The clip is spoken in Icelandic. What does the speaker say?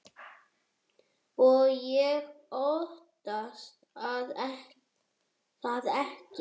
Og ég óttast það ekki.